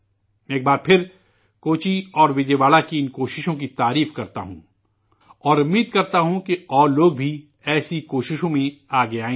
میں ایک بار پھر کوچی اور وجے واڑا کی ان کوششوں کی ستائش کرتا ہوں، اور امید کرتا ہوں کہ مزید لوگ بھی ایسی کوششوں میں آگے آئیں گے